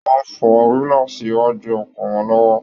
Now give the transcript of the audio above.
Wọn ń fọ gílààsí iwájú ọkọ̀ wọn lọ́wọ́